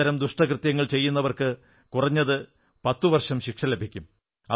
അത്തരം ദുഷ്ടകൃത്യങ്ങൾ ചെയ്യുന്നവർക്ക് കുറഞ്ഞത് 10 വർഷം ശിക്ഷ ലഭിക്കും